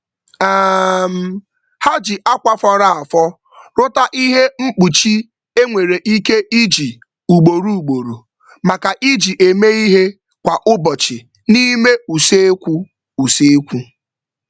um Ha ji akwa fọrọ afọ rụta ihe mkpuchi e nwere ike iji ugboro ugboro maka iji eme ihe kwa ụbọchị n'ime usekwu. usekwu.